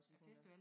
Æ festival